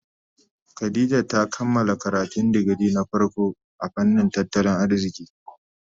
Khadijah ta kammala karatun digiri na farko a fannin tattalin arziki.